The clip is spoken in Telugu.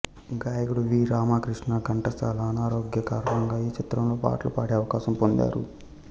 గాయకుడు వి రామకృష్ణ ఘంటశాల అనారోగ్య కారణంగా ఈ చిత్రంలో పాటలు పాడే అవకాశం పొందారు